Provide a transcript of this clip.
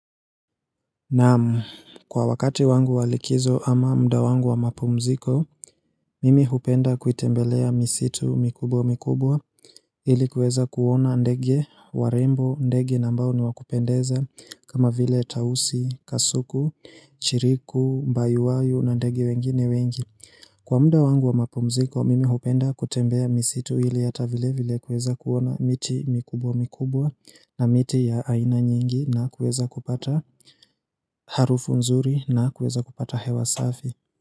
Naam kwa wakati wangu wa likizo ama mda wangu wa mapumziko, mimi hupenda kuitembelea misitu mikubwa mikubwa ili kueza kuona ndege, warembo, ndege na ambao ni wakupendeza kama vile tausi, kasuku, chiriku, mbayuwayo na ndege wengine wengi. Kwa mda wangu wa mapumziko, mimi hupenda kutembea misitu hili hata vile vile kueza kuona miti mikubwa mikubwa na miti ya aina nyingi na kueza kupata harufu nzuri na kueza kupata hewa safi.